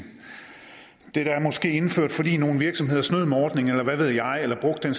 det er måske indført fordi nogle virksomheder snød med ordningen eller hvad ved jeg eller brugte den